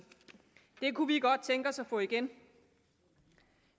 det kunne vi godt tænke os at få igen